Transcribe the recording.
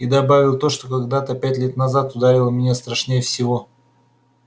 и добавил то что когда-то пять лет назад ударило меня страшнее всего